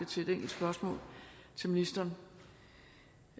til et enkelt spørgsmål til ministeren